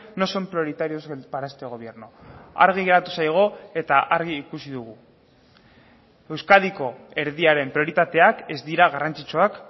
no son prioritarios para este gobierno argi geratu zaigu eta argi ikusi dugu euskadiko erdiaren prioritateak ez dira garrantzitsuak